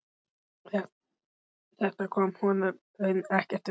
Þetta kom honum raunar ekkert við.